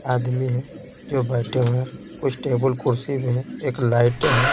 आदमी है जो बैठे हुए हैं कुछ टेबल कुर्सी भी है एक लाइट है।